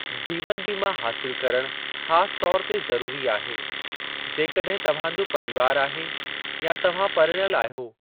जीवनु बीमा हासिलु करणु ख़ासि तौर ते ज़रुरी आहे, जेकड॒हिं तव्हांजो परीवारु आहे या तव्हां परणियल आहियो।